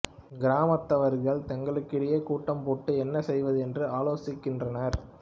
கிராமத்தவர்கள் தங்களுக்கிடையில் கூட்டம் போட்டு என்ன செய்வது என்று ஆலோசிக்கின்றனர்